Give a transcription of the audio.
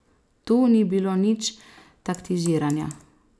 Tu ni bilo nič taktiziranja.